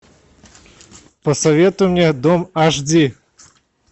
посоветуй мне дом аш ди